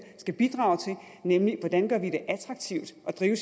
skal bidrage til nemlig hvordan man gør det attraktivt at drive